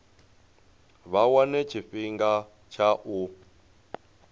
vha wane tshifhinga tsha u